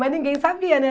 Mas ninguém sabia, né?